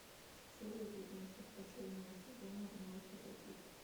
серия пятнадцать последнего сезона ну погоди